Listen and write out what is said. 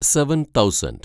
seven thousand